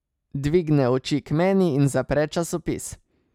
Dvigne oči k meni in zapre časopis.